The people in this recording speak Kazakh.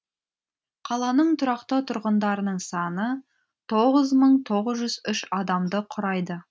қаланың тұрақты тұрғындарының саны тоғыз мың тоғыз жүз үш адамды құрайды